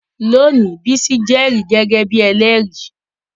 Lónìí, Bisi jẹ́rìí gẹ́gẹ́ bí ẹlẹ́rìí